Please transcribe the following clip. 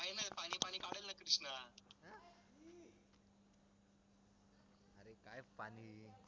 पाणी